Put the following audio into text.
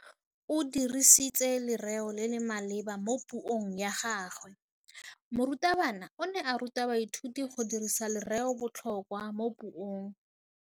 O dirisitse lerêo le le maleba mo puông ya gagwe. Morutabana o ne a ruta baithuti go dirisa lêrêôbotlhôkwa mo puong.